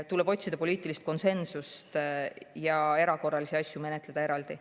Tuleb otsida poliitilist konsensust ja erakorralisi asju menetleda eraldi.